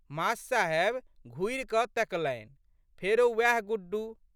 मा.साहेब घुरिकए तकलनि। फेरो उएह गुड्डू।